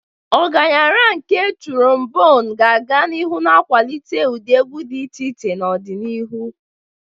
Ọgaranya nke Turombonu ga-aga n'ihu na-akwalite ụdị egwu dị iche iche n'ọdịnihu.